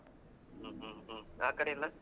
ಹ್ಮ್ ಹ್ಮ್ ಹ್ಮ್ಮ್ ಆ ಕಡೆ ಎಲ್ಲಾ?